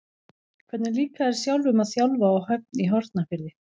Hvernig líkar þér sjálfum að þjálfa á Höfn í Hornafirði?